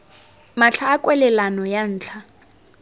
matlha a kwalelano ya ntlha